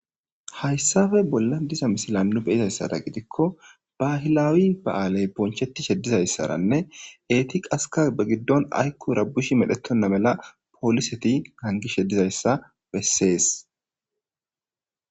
Hayssafe bolla diza misila nu beyizayssara gidikko bahilawi ba7aaley ponchetishe dizayssaranne eetiqaska be giddon ayku rabushi medhetonna mela pooliseti hangishe dizayssa bessees.